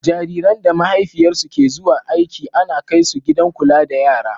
Jariran da mahaifiyarsu ke zuwa aiki ana kaisu gidan kula da yara.